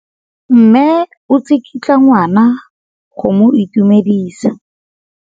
Mme o tsikitla ngwana go mo itumedisa.